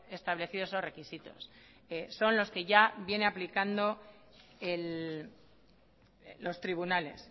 establecido esos requisitos son los que ya vienen aplicando los tribunales